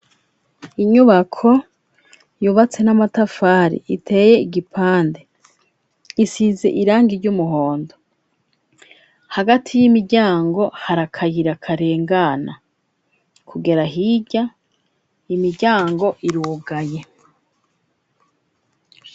inyubako yubatse n'amatafari iteye igipande isize irangi ry'umuhondo hagati y'imiryango harakayira karengana kugera hirya imiryango irugaye